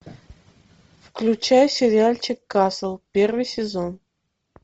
включай сериальчик касл первый сезон